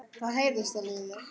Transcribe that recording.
Jón Arason gekk inn í stöpul.